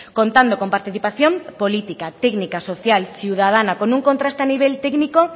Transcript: contando con participación política técnica social ciudadana con un contracte a nivel técnico